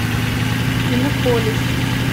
иннополис